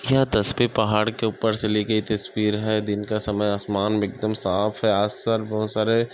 यह तस्वीर पहाड़ के ऊपर से ली गई तस्वीर है दिन का समय आसमान भी एकदम साफ है आस - पास बहुत सारे --